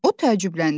O təəccübləndi.